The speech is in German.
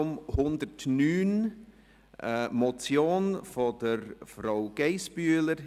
Es geht um eine Motion von Grossrätin Geissbühler.